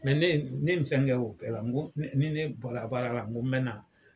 Mɛ ne ne ni fɛnkɛ o bɛɛ la ko ni ne bɔra baara la ko n mɛ na